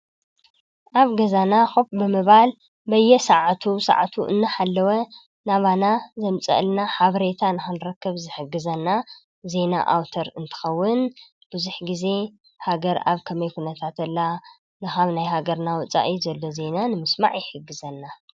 ኣብ ገዛና ዂብ ብመባል በየ ሰዓቱ ሰዓቱ እናሃለወ ናባና ዘምጽአልና ሓብሬታ ንሓንረከብ ዝሕግዘና ዜይና ኣውተር እንትኸውን ፤ብዙኅ ጊዜ ሃገር ኣብ ከመይኹነታትላ ንሃብ ናይ ሃገር እናወፃኢ ዘለቢ ዘይና ንምስማዕ ይሕግዘና።